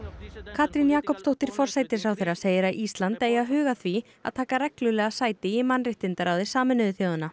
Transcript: Katrín Jakobsdóttir forsætisráðherra segir að Ísland eigi að huga að því að taka reglulega sæti í mannréttindaráði Sameinuðu þjóðanna